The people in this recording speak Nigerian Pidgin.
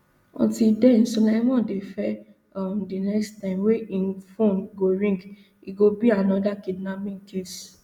until den sulaiman dey fear um di next time wey im phone go ring e go be anoda kidnapping case